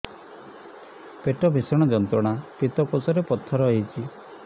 ପେଟ ଭୀଷଣ ଯନ୍ତ୍ରଣା ପିତକୋଷ ରେ ପଥର ହେଇଚି